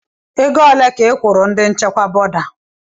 Ego ole ka ị kwụrụ ndi nchịkwa bọda?